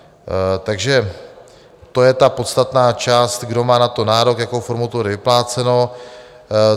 Takže to je ta podstatná část, kdo má na to nárok, jakou formou to bude vypláceno.